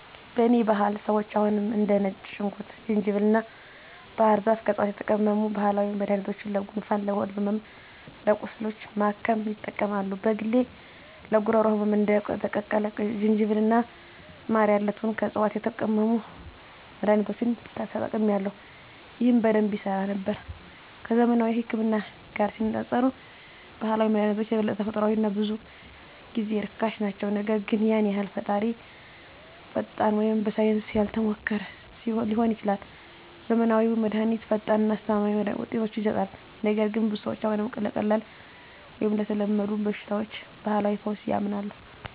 በእኔ ባህል ሰዎች አሁንም እንደ ነጭ ሽንኩርት፣ ዝንጅብል እና ባህር ዛፍ ከዕፅዋት የተቀመሙ ባህላዊ መድኃኒቶችን ለጉንፋን፣ ለሆድ ሕመም እና ቁስሎች ለማከም ይጠቀማሉ። በግሌ ለጉሮሮ ህመም እንደ የተቀቀለ ዝንጅብል እና ማር ያሉትን ከዕፅዋት የተቀመሙ መድኃኒቶችን ተጠቅሜአለሁ፣ ይህም በደንብ ይሠራ ነበር። ከዘመናዊው ህክምና ጋር ሲነፃፀሩ ባህላዊ መድሃኒቶች የበለጠ ተፈጥሯዊ እና ብዙ ጊዜ ርካሽ ናቸው, ነገር ግን ያን ያህል ፈጣን ወይም በሳይንስ ያልተሞከሩ ሊሆኑ ይችላሉ. ዘመናዊው መድሃኒት ፈጣን እና አስተማማኝ ውጤቶችን ይሰጣል, ነገር ግን ብዙ ሰዎች አሁንም ለቀላል ወይም ለተለመዱ በሽታዎች ባህላዊ ፈውስ ያምናሉ.